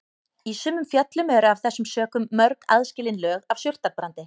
Í sumum fjöllum eru af þessum sökum mörg aðskilin lög af surtarbrandi.